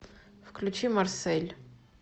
включи марсель